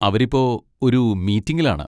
അവര് ഇപ്പൊ ഒരു മീറ്റിങ്ങിലാണ്.